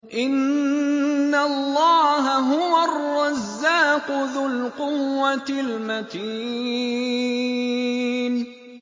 إِنَّ اللَّهَ هُوَ الرَّزَّاقُ ذُو الْقُوَّةِ الْمَتِينُ